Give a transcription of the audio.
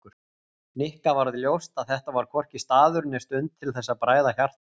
Nikka varð ljóst að þetta var hvorki staður né stund til þess að bræða hjarta